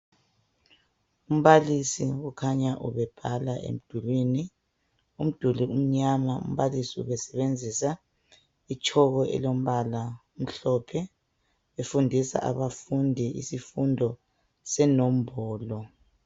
Umbalisi ukhanya ubebhala emdulwini. Udili amnyama, umbalisi ubesebenzisa itshoko emhlophe. Efundisa abafundi isifundo senombolo.